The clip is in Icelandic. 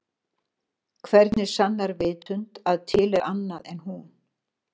Hvernig sannar vitund að til er annað en hún?